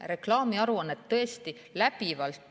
Reklaamiaruannete kohta.